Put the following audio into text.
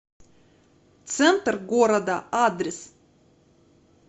центр города адрес